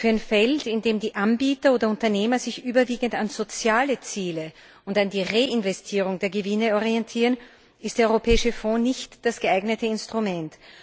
Für ein Feld, in dem die Anbieter oder Unternehmen sich überwiegend an sozialen Zielen und an der Reinvestierung der Gewinne orientieren, ist der europäische Fonds nicht das geeignete Instrument.